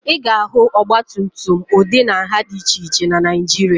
Ị ga-ahụ ọgbatumtum ụdị na nha dị iche iche na Naịjirịa